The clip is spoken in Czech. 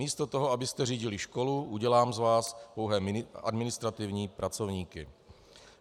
Místo toho, abyste řídili školu, udělám z vás pouhé administrativní pracovníky.